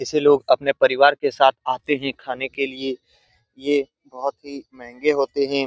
ऐसे लोग अपने परिवार के साथ आते है खाने के लिए यह बहुत ही महंगे होते हैं ।